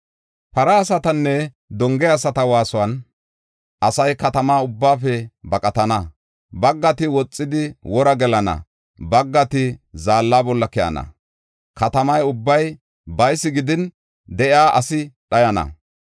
Para asatanne donge asata waasuwan, asay katama ubbaafe baqatana. Baggati woxidi wora gelana, baggati zaalla bolla keyana. Katama ubbay baysi gidin de7iya asi dhayana.